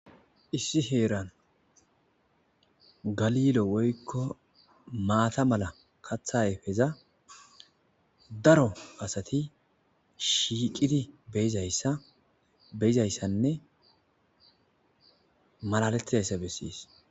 issi heeran galilo woykko maata mala katha ayifeza daro asati shiiqidi beyizayssanne malaletizayssa bessies